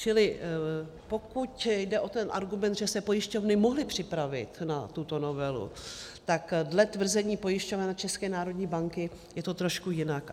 Čili pokud jde o ten argument, že se pojišťovny mohly připravit na tuto novelu, tak dle tvrzení pojišťoven a České národní banky je to trošku jinak.